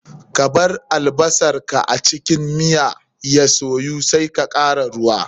Kabar albasar a cikin manyan ya soyu sai ka kara ruwa.